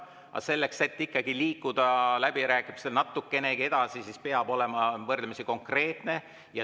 Aga selleks, et liikuda läbirääkimistel natukenegi edasi, peab olema võrdlemisi konkreetne.